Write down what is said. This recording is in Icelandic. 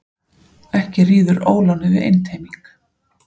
Ekki ríður ólánið við einteyming.